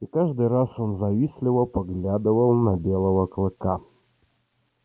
и каждый раз он завистливо поглядывал на белого клыка